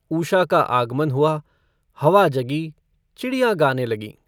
ऊषा का आगमन हुआ हवा जगी चिड़ियाँ गाने लगीं।